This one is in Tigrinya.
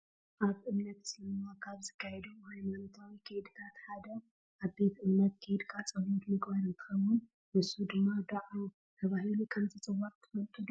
ኣብ እምነት እስልምና ካብ ዝካየዱ ሃይማኖታዊ ከይድታት ሓደ ኣብ ቤተ እምነት ከይድኻ ፀሎት ምግባር እንትኾውን ንሱ ድማ ድዓ ተባሂሉ ከም ዝፅዋዕ ትፈልጡ ዶ?